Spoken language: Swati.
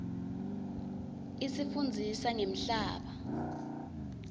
isifundzisa ngemhlaba